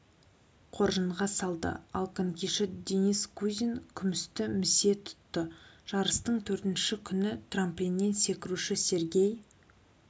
қоржынға салды ал конькиші денис кузин күмісті місе тұтты жарыстың төртінші күні трамплиннен секіруші сергей